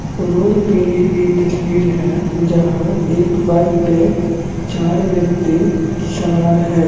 Road पे ली गई तस्वीर है जहां एक बाइक पे चार व्यक्ति सवार है ।